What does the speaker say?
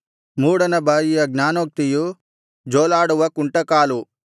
ಮೂಢನ ಬಾಯಿಯ ಜ್ಞಾನೋಕ್ತಿಯು ಜೋಲಾಡುವ ಕುಂಟಕಾಲು